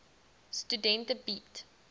studente bied